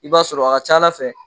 I b'a sɔrɔ a ka ca Ala fɛ